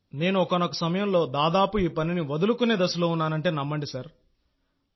నేను ఒకానొక సమయంలో దాదాపు ఈ పనిని వదులుకునే దశలో ఉన్నానంటే నమ్మండి సార్